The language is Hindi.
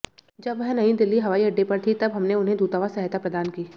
जब वह नयी दिल्ली हवाई अड्डे पर थीं तब हमने उन्हें दूतावास सहायता प्रदान की